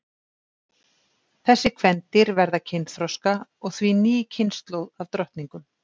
þessi kvendýr verða kynþroska og því ný kynslóð af drottningum